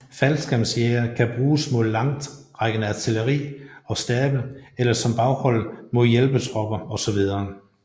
Faldskærmsjægere kan bruges mod langtrækkende artilleri og stabe eller som baghold mod hjælpetropper osv